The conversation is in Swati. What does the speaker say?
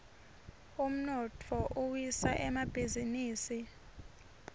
umnotfo uwisa emabhisinisi